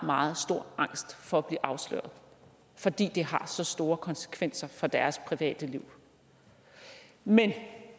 meget stor angst for at blive afsløret fordi det har så store konsekvenser for deres private liv men